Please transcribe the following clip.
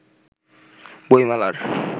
বই মেলার